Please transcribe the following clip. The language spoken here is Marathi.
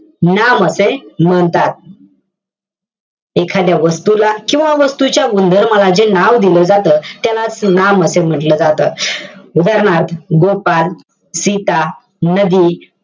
नाम असे म्हणतात. एखाद्या वस्तूला किंवा वास्तूच्या गुणधर्माला जे नाव दिलं जातं, त्यालाच नाम असे म्हंटल जातं. उदाहरणार्थ, गोपाल, सीता, नदी,